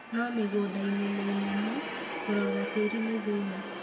no mĩgũdainĩ mĩinamu kũrora tĩri nĩthĩna.